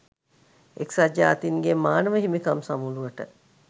එක්සත් ජාතින්ගේ මානව හිමිකම් සමුළුවට